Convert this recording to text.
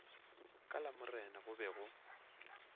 ka lamorena go be go